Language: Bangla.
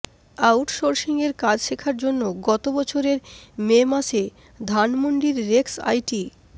আউটসোর্সিংয়ের কাজ শেখার জন্য গত বছরের মে মাসে ধানমন্ডির রেক্স আইটি